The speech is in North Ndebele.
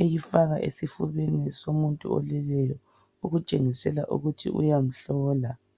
eyifaka esifubeni somuntu oleleyo okutshengisela ukuthi uyamhlola.